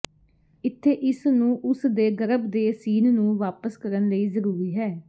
ਇੱਥੇ ਇਸ ਨੂੰ ਉਸ ਦੇ ਗਰਭ ਦੇ ਸੀਨ ਨੂੰ ਵਾਪਸ ਕਰਨ ਲਈ ਜ਼ਰੂਰੀ ਹੈ